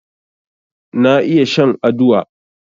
Na iya shan aduwa